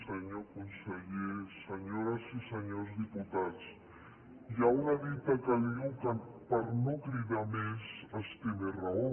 senyor conseller senyores i senyors diputats hi ha una dita que diu que per no cridar més es té més raó